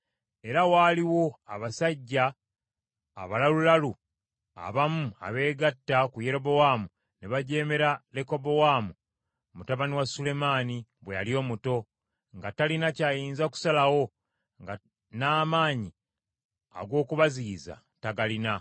Era waaliwo abasajja abalalulalu abamu abeegatta ku Yerobowaamu ne bajeemera Lekobowaamu mutabani wa Sulemaani bwe yali omuto, nga talina kyayinza kusalawo, nga n’amaanyi ag’okubaziyiza tagalina.